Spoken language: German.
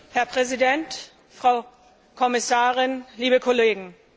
Herr Präsident, Frau Kommissarin, liebe Kollegen!